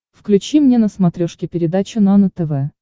включи мне на смотрешке передачу нано тв